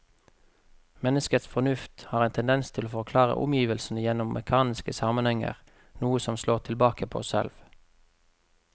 Menneskets fornuft har en tendens til å forklare omgivelsene gjennom mekaniske sammenhenger, noe som slår tilbake på oss selv.